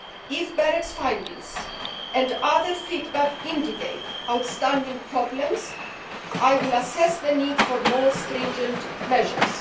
If BEREC's findings and other feedback indicate outstanding problems, it will assess the need for more stringent measures.